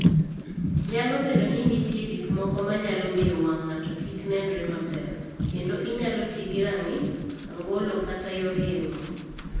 Nyalo bedo ni nitie gik moko ma nyalo miyo wang' ng'ato kik nenre maber, kendo inyalo ti gi rang'i, angolo kata yor yeng'o.